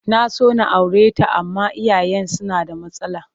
Na so na aure ta amma iyayenta suna da matsala